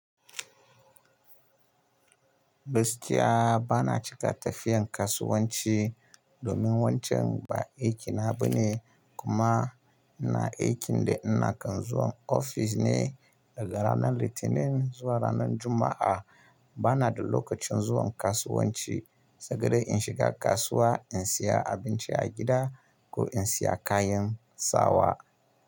Gaskiya ba na cika tafiyan kasuwanci domin wancan ba aikina ba ne. Kuma ina aikin da ina kan zuwa ofis ne daga ranar Litinin zuwa ranar Juma'a. Ba na da lokacin zuwa kasuwanci, sai dai in shiga kasuwa in siya abinci a gida ko in siya kayan sawa.